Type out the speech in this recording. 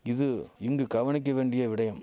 இது இங்கு கவனிக்க வேண்டிய விடயம்